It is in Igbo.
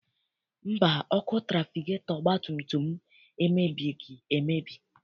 Mba, ọkụ trafigetọ ọgbatumtum m emebighị emebi.